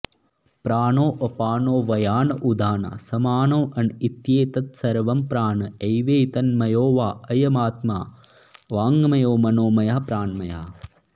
प्राणोऽपानो व्यान उदानः समानोऽन इत्येतत्सर्वं प्राण एवैतन्मयो वा अयमात्मा वाङ्मयो मनोमयः प्राणमयः